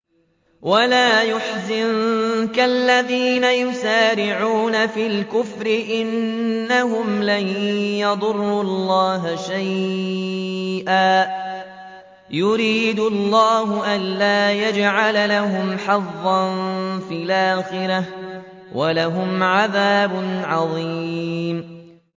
وَلَا يَحْزُنكَ الَّذِينَ يُسَارِعُونَ فِي الْكُفْرِ ۚ إِنَّهُمْ لَن يَضُرُّوا اللَّهَ شَيْئًا ۗ يُرِيدُ اللَّهُ أَلَّا يَجْعَلَ لَهُمْ حَظًّا فِي الْآخِرَةِ ۖ وَلَهُمْ عَذَابٌ عَظِيمٌ